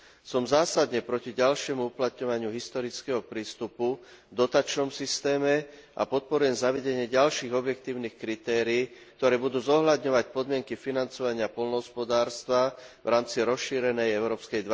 Som zásadne proti ďalšiemu uplatňovaniu historického prístupu v dotačnom systéme a podporujem zavedenie ďalších objektívnych kritérií, ktoré budú zohľadňovať podmienky financovania poľnohospodárstva v rámci rozšírenej európskej